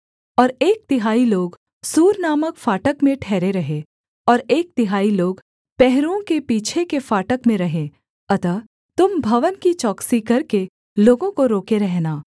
और एक तिहाई लोग सूर नामक फाटक में ठहरे रहें और एक तिहाई लोग पहरुओं के पीछे के फाटक में रहें अतः तुम भवन की चौकसी करके लोगों को रोके रहना